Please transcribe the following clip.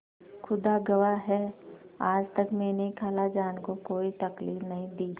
खुदा गवाह है आज तक मैंने खालाजान को कोई तकलीफ नहीं दी